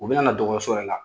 U bɛna na dɔgɔ so yɛrɛ la.